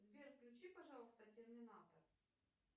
сбер включи пожалуйста терминатор